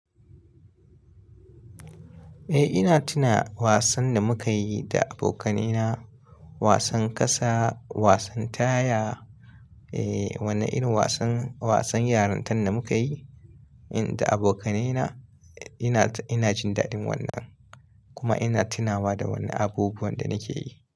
Eh ina tuna wasan da muka yi da abokaina. Wasan ƙasa, wasan taya. Eh, wannan irin wasan, wasan yarun tan da muka yi da abokaina. Ina, ina jin daɗin wannan kuma ina tunawa da wannan abubuwan da nake yi.